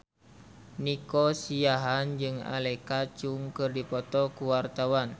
Nico Siahaan jeung Alexa Chung keur dipoto ku wartawan